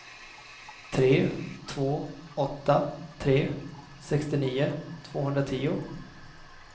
tre två åtta tre sextionio tvåhundratio